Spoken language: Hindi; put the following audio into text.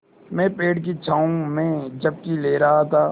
मैं पेड़ की छाँव में झपकी ले रहा था